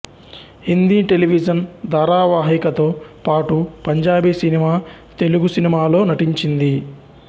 Hindi television ధారావాహికతో పాటు పంజాబీ సినిమా తెలుగు సినిమా లో నటించింది